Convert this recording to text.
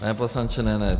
Pane poslanče, ne, ne.